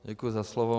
Děkuji za slovo.